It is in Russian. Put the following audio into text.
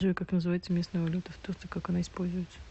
джой как называется местная валюта в турции как она используется